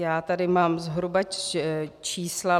Já tady mám zhruba čísla.